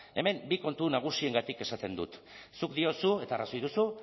ezta hemen bi kontu nagusiengatik esaten dut zuk diozu eta arrazoi duzu